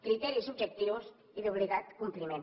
criteris objectius i d’obligat compliment